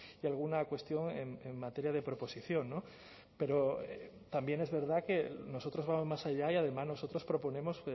y alguna cuestión en materia de proposición pero también es verdad que nosotros vamos más allá y además nosotros proponemos